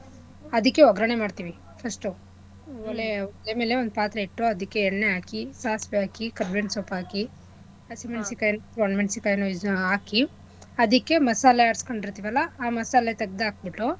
ಅದಿಕ್ಕೆ ಓಗ್ರಣೆ ಮಾಡ್ತಿವಿ first ಉ ಆಮೇಲೆ ಓಲೆಮೇಲೆ ಒಂದು ಪಾತ್ರೆ ಇಟ್ಟು ಆದಿಕ್ಕೆ ಎಣ್ಣೆ ಆಕೀ ಸಾಸ್ವೇ ಆಕಿ ಕರ್ಬೆವಿನ್ ಸೊಪ್ ಆಕೀ ಹಸಿ ಮೆಣಸಿನ ಕಾಯ್ ಒಣ ಮೆಣಸಿಣ್ ಕಾಯಿ ಆಕಿ ಅದಿಕ್ಕೆ ಮಸಾಲೆ ಆಡ್ಸ್ಕೊಂಡಿರ್ತಿವಲ್ಲಾ ಆ ಮಸಾಲೆತಗ್ದಾಕ್ಬಿಟ್ಟು.